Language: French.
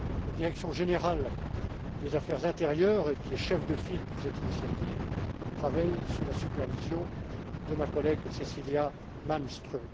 La direction générale des affaires intérieures, qui est chef de file pour cette initiative, travaille sous la supervision de ma collègue, Cecilia Malmström.